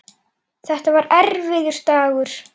Þetta var erfiður dagur.